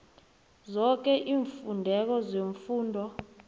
zoke iimfuneko zefundo